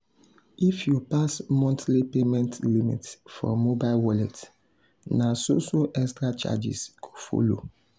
if you pass monthly payment limit for mobile wallet na so so extra charges go follow.